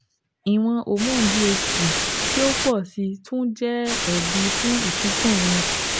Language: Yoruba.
Iwọn homonu DHT ti o pọ si tun jẹ ẹbi fun isunkun irun